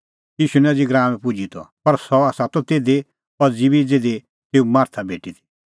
ईशू निं अज़ी गराऊंए पुजी त पर सह त तिधी अज़ी ज़िधी तेऊ मार्था भेटी ती